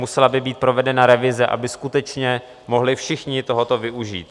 Musela by být provedena revize, aby skutečně mohli všichni tohoto využít.